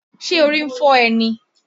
Ṣé orí ń fọ́ ẹ́ ni?